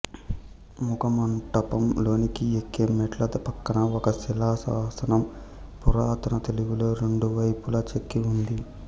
ముఖ మంటపం లోనికి ఎక్కే మెట్ల ప్రక్కన ఒక శిలా శాసనం పురాతన తెలుగులో రెండు వైపులా చెక్కి ఉంది